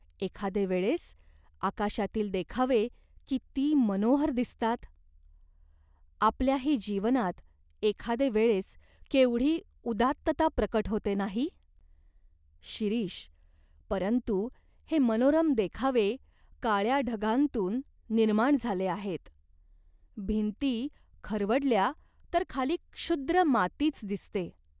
एखादे वेळेस आकाशातील देखावे किती मनोहर दिसतात !" "आपल्याही जीवनात एखादे वेळेस केवढी उदात्तता प्रकट होते, नाही ?" "शिरीष, परंतु हे मनोरम देखावे काळ्या ढगांतून निर्माण झाले आहेत. भिंती खरवडल्या तर खाली क्षुद्र मातीच दिसते.